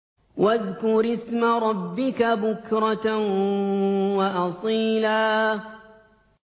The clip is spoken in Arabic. وَاذْكُرِ اسْمَ رَبِّكَ بُكْرَةً وَأَصِيلًا